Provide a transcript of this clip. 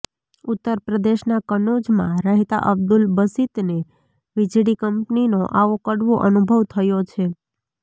ઉત્તર પ્રદેશના કનૌજમાં રહેતા અબ્દુલ બસિતને વીજળી કંપનીનો આવો કડવો અનુભવ થયો છે